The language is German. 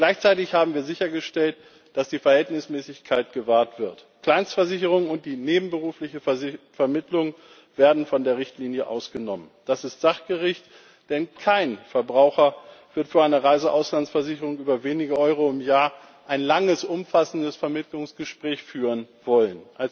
Gleichzeitig haben wir sichergestellt, dass die Verhältnismäßigkeit gewahrt wird. Kleinstversicherungen und die nebenberufliche Vermittlung werden von der Richtlinie ausgenommen. Das ist sachgerecht, denn kein Verbraucher wird vor einer Reise für eine Auslandsversicherung über wenige Euro im Jahr ein langes umfassendes Vermittlungsgespräch führen wollen.